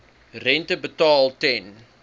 rente betaal ten